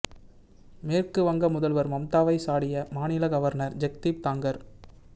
மேற்கு வங்க முதல்வர் மம்தாவை சாடிய மாநில கவர்னர் ஜெக்தீப் தாங்கர்